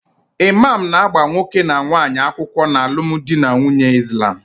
Imam na-agba nwoke na nwaanyi akwukwo n'alum di na nwunye Islam